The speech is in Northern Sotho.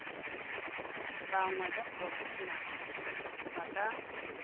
banngwe ba profešenale ba ka